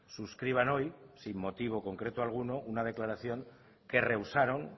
suscriban hoy sin motivo concreto alguno una declaración que rehusaron